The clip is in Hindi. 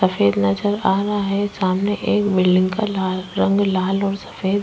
सफ़ेद नजर आ रहा है। सामने एक बिल्डिंग का लाल् रंग लाल और सफ़ेद --